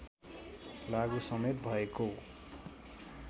लागु समेत भएको